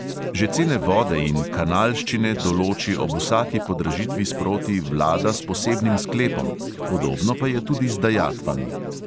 Že cene vode in kanalščine določi ob vsaki podražitvi sproti vlada s posebnim sklepom, podobno pa je tudi z dajatvami.